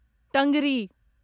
टंगरी